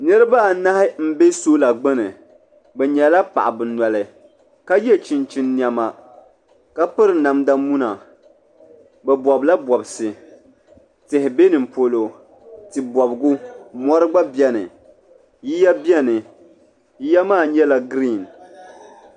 Niriba anahi m be sola gbini bɛ nyɛla paɣaba noli ka ye chinchin niɛma ka piri namda muna bɛ bobla bobsi tihi be nimpolo tibobgu mori gba biɛni yiya biɛni yiya maa nyɛla girin.